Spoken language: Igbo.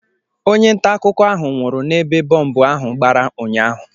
Onye nta akụkọ ahụ nwụrụ n'ebe bọmbụ ahụ gbara ụnyaahụ